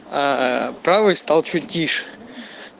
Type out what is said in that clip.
правый стал чуть тише